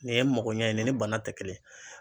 Nin ye magoɲɛ ye nin ni bana te kelen ye